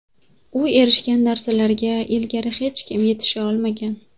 U erishgan narsalarga ilgari hech kim yetisha olmagan.